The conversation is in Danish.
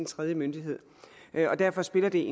tredje myndighed derfor spiller det